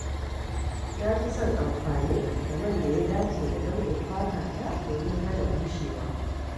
Na fi son amfani da man da ya dace da nau'in fatata domin hana bushewa.